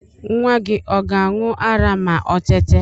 Nwa gi ọ ga-aṇ̇ụ ara ma o tete